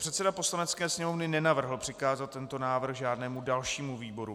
Předseda Poslanecké sněmovny nenavrhl přikázat tento návrh žádnému dalšímu výboru.